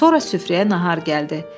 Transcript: Sonra süfrəyə nahar gəldi.